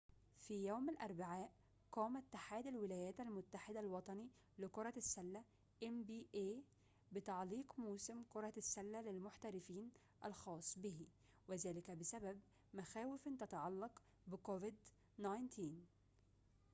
في يوم الأربعاء قام اتحاد الولايات المتحدة الوطني لكرة السلة إن بي إيه بتعليق موسم كرة السلة للمحترفين الخاص به وذلك بسبب مخاوفٍ تتعلق بكوفيد-19